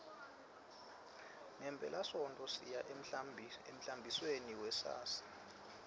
ngephelasontfo siya emhlambisweni wasisi